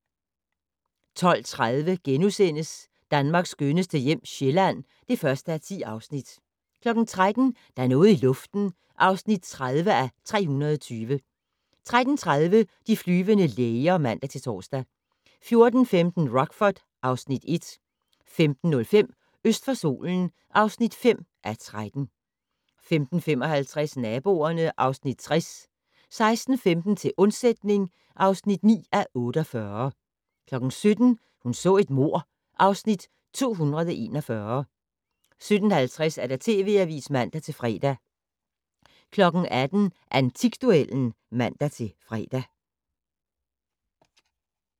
12:30: Danmarks skønneste hjem - Sjælland (1:10)* 13:00: Der er noget i luften (30:320) 13:30: De flyvende læger (man-tor) 14:15: Rockford (Afs. 1) 15:05: Øst for solen (5:13) 15:55: Naboerne (Afs. 60) 16:15: Til undsætning (9:48) 17:00: Hun så et mord (Afs. 241) 17:50: TV Avisen (man-fre) 18:00: Antikduellen (man-fre)